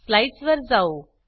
slides वर जाऊ